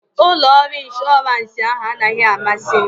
Ụlọ ọrụ ịnshọransị anaghị amasị m